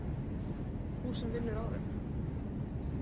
Þú sem vinnur á þeim.